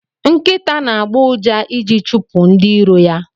Nkita na agbo ụja iji chipu ndi iro ya.